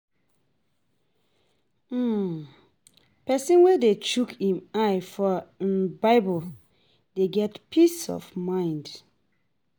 um Pesin wey dey chook im eye for um bible dey get peace of mind.